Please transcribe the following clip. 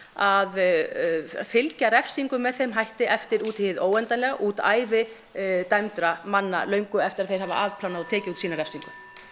að fylgja refsingum með með þeim hætti eftir út í hið óendanlega út ævi dæmdra manna löngu eftir að þeir hafa afplánað og tekið út sína refsingu